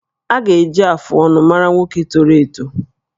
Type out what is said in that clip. A ga-eji afụ ọnụ mara nwoke toro eto